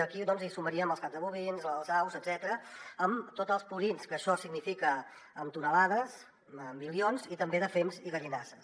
aquí hi sumaríem els caps de bovins les aus etcètera amb tots els purins que això significa en tones en milions i també de fems i gallinasses